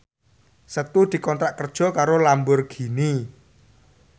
Setu dikontrak kerja karo Lamborghini